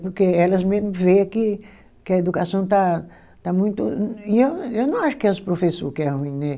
Porque elas mesmo vê que a educação está, está muito. E eu eu não acho que é os professor que é ruim né.